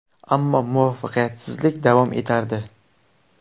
Ammo muvaffaqiyatsizlik davom etardi.